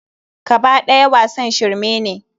Kaba ɗaya wasan shirme ne.